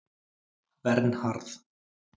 Vernharð